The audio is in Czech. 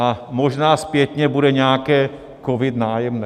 A možná zpětně bude nějaké COVID - Nájemné.